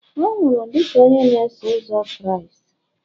ọ nwụrụ dị ka onye na-eso ụzọ Kraịst